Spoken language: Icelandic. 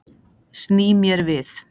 Sný mér við.